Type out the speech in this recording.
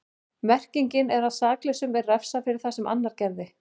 Merkingin er að saklausum er refsað fyrir það sem annar gerði.